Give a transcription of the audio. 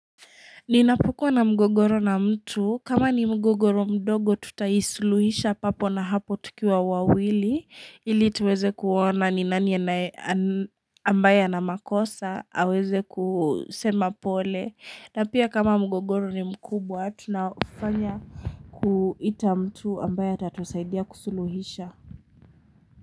Ninapokuwa na mgogoro na mtu, kama ni mgogoro mdogo tutaisuluhisha papo na hapo tukiwa wawili ili tuweze kuona ni nani ambaye ana makosa, aweze kusema pole na pia kama mgogoro ni mkubwa tunafanya kuita mtu ambaye atatusaidia kusuluhisha.